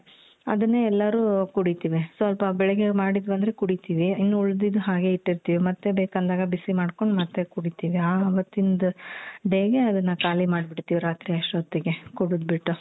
ಅದುನ್ನೇ ಎಲ್ಲಾರು ಕುಡಿತೀವಿ ಸ್ವಲ್ಪ ಬೆಳ್ಗೆ ಮಾಡಿದ್ವಂದ್ರೆ ಕುಡಿತೀವಿ ಇನ್ನ್ ಉಳಿದಿದ್ದ್ ಹಾಗೆ ಇಟ್ಟಿರ್ತೀವಿ ಮತ್ತೆ ಬೇಕಂದಾಗ ಬಿಸಿ ಮಾಡ್ಕೋಂಡ್ ಮತ್ತೆ ಕುಡಿತೀವಿ ಅವತ್ತಿಂದ್ day ಗೆ ಅದುನ್ನ ಖಾಲಿ ಮಾಡ್ಬಿಡ್ತೀವಿ ರಾತ್ರಿ ಅಷ್ಟೋತ್ತ್ ಗೆ ಕೂಡುದ್ಬಿಟ್ಟು.